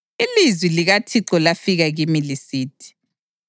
Ilizwi likaThixo lafika kimi lisithi: